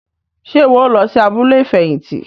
Ṣe iwọ o lọ sí abúlé ifẹhinti?